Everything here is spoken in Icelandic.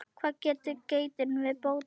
Hvað sagði geitin við Bótólf?